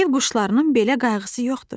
Ev quşlarının belə qayğısı yoxdur.